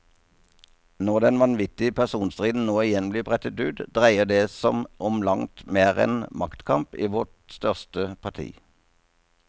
Når den vanvittige personstriden nå igjen blir brettet ut, dreier det som om langt mer enn maktkamp i vårt største parti.